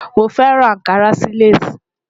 Mo fẹran Ànkarà sí Lace.